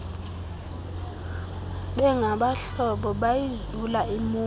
bengabahlobo bayizula imonti